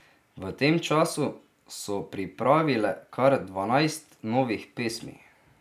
V tem času so pripravile kar dvanajst novih pesmi.